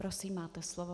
Prosím, máte slovo.